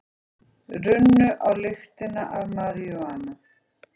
Runnu á lyktina af maríjúana